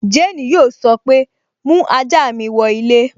Jane yóò sọ pé, 'mú ajá mi wọ ilé'